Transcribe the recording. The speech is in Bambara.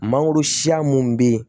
Mangoro siya minnu bɛ yen